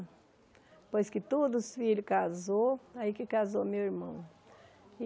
Depois que todos os filhos casaram, aí que casou meu irmão.